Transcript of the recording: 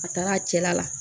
A taara a cɛla la